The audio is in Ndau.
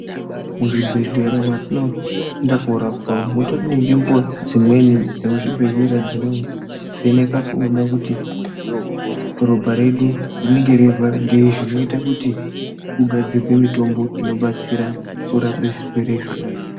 Muzvibhedhlera mwatinoenda kunorapwa umwo mutori nenzvimbo dzimweni dzomuchibhedhlera dzinovheneka kuona kuti ropa redu rinenge reirwara ngei zvinoita kuti kugadzirwe mitombo inobatsira kurape zvirwere zvona zvoo.